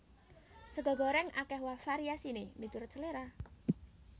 Sega gorèng akèh variasiné miturut seléra